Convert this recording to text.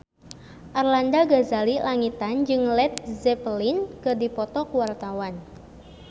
Arlanda Ghazali Langitan jeung Led Zeppelin keur dipoto ku wartawan